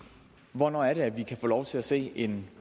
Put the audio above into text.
hvornår er det vi kan få lov til at se en